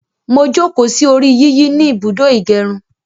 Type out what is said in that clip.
Mo jókòó sí orí yíyí ni ibùdó ìgẹrun